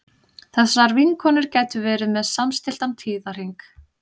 þessar vinkonur gætu verið með samstilltan tíðahring